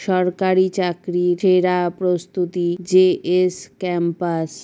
সরকারি চাকরির সেরা প্রস্তুতি জে. এস. ক্যাম্পাস ।